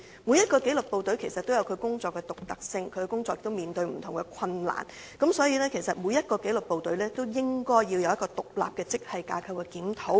每一紀律部隊的工作均有其獨特性，在工作上亦會面對不同困難，所以對每一紀律部隊應作出獨立的職系架構檢討。